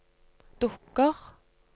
dukker